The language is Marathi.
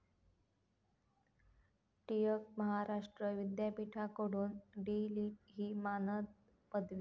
टिळक महाराष्ट्र विद्यापीठाकडून डी.लिट. ही मानद पदवी